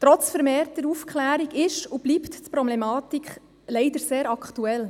Trotz vermehrter Aufklärung ist und bleibt die Problematik leider sehr aktuell.